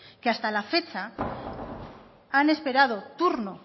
que hasta la fecha han esperado turno